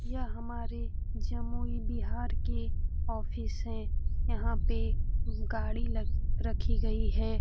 यह हमारे जमुई बिहार के ऑफिस है। यहां पे गाड़ी लग रखी गई हैं ।